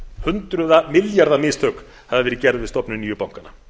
hundruða milljarða mistök hafi verið gerð við stofnun nýju bankanna